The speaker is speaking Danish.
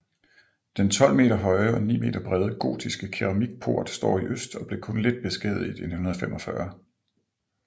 Den 12 meter høje og 9 meter brede gotiske keramikport står i øst og blev kun lidt beskadiget i 1945